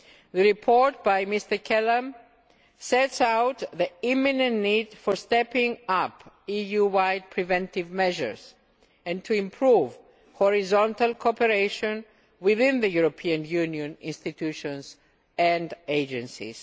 The report by Mr Kelam sets out the imminent need for stepping up EU wide preventive measures and to improve horizontal cooperation within the EU institutions and agencies.